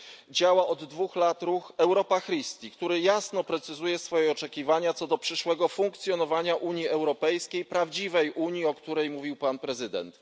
Działa od dwóch lat ruch Europa Christi, który jasno precyzuje swoje oczekiwania co do przyszłego funkcjonowania Unii Europejskiej prawdziwej unii, o której mówił pan prezydent.